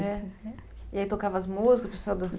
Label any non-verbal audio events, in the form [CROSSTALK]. É. E aí tocava as músicas, o pessoal? [UNINTELLIGIBLE]